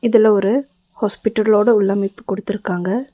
இதுல ஒரு ஹாஸ்பிட்டலோட உள்ளமைப்பு குடுத்திருக்காங்க.